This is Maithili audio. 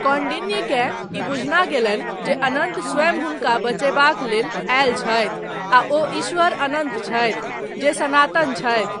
कौंडिन्यकेँ ई बुझना गेलनि जे अनन्त स्वयं हुनका बचयबाक लेल आयल छथि आ ओ ईश्वर अनन्त छथि, जे सनातन छथि।